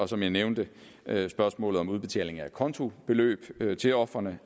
som jeg nævnte er spørgsmålet om udbetaling af acontobeløb til ofrene